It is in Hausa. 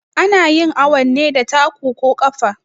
Anayin awun ne da taku ko ƙafa